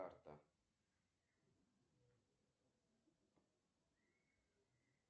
джой ассистент выполни перевод денег моему родственнику